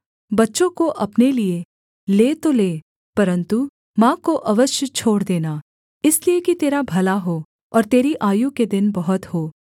बच्चों को अपने लिये ले तो ले परन्तु माँ को अवश्य छोड़ देना इसलिए कि तेरा भला हो और तेरी आयु के दिन बहुत हों